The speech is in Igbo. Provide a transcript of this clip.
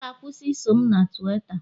ọ ga- akwusi iso m na Tuweeta